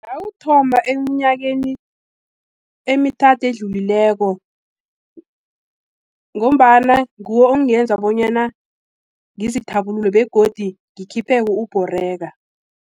Ngawuthoma emnyakeni emithathu edlulileko, ngombana nguwo ongenza bonyana ngizithabulule, begodu ngikhipheke, ukubhoreka.